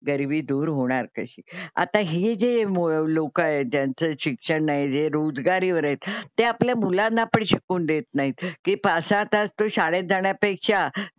गरिबी दूर होणार कशी? आता हे जे लोकं आहेत ज्यांचं शिक्षण नाही, जे रोजगारीवर आहेत ते आपल्या मुलांना पण शिकू देत नाहीत कि पाच-सहा तास तो शाळेत जाण्यापेक्षा,